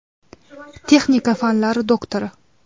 Texnika fanlari doktori.